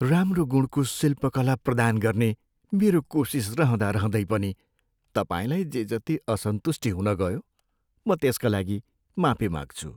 राम्रो गुणको शिल्पकला प्रदान गर्ने मेरो कोसिस रहँदारहँदै पनि तपाईँलाई जेजति असन्तुष्टि हुनगयो, म त्यसका लागि माफी माग्छु।